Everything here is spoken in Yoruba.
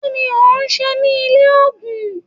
kí ni òun se ní ilé ògùn?